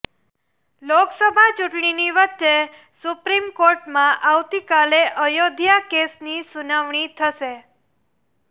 લોકસભા ચુંટણીની વચ્ચે સુપ્રિમ કોર્ટમાં આવતીકાલે અયોધ્યા કેસની સુનાવણી થશે